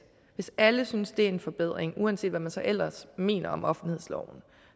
hvis alle synes det er en forbedring uanset hvad man så ellers mener om offentlighedsloven